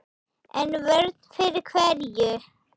En vörn fyrir hverju?